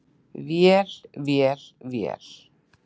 Vél, vél, vél.